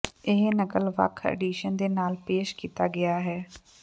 ਇਹ ਨਕਲ ਵੱਖ ਐਡੀਸ਼ਨ ਦੇ ਨਾਲ ਪੇਸ਼ ਕੀਤਾ ਗਿਆ